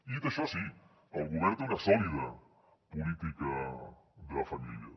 i dit això sí el govern té una sòlida política de famílies